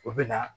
O bɛ na